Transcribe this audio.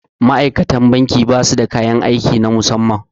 Ma'aikatan banki ba su da kayan aiki na musamman